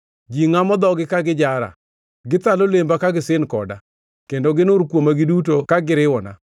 Ji ngʼamo dhogi ka gijara; Githalo lemba ka gisin koda, kendo ginur kuoma giduto ka giriwona.